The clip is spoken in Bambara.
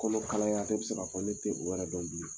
Kɔnɔ kalaya ne bɛ se k'a fɔ ne tɛ o yɛrɛ dɔn bilen.